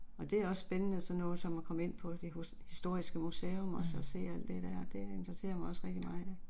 Og det er også spændende sådan noget som at komme ind på det historiske museum og så se alt det der det interesserer mig også rigtig meget